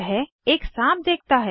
वह एक साँप देखता है